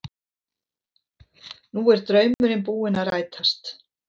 Nú er draumurinn búinn að rætast